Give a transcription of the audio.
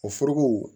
O foroko